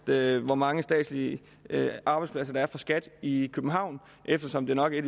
ved hvor mange statslige arbejdspladser der er for skat i københavn eftersom det nok er